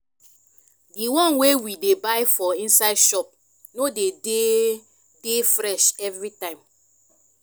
di one wey we dey buy for inside shop no dey dey fresh evritime